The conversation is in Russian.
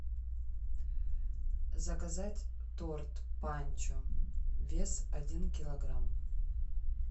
заказать торт панчо вес один килограмм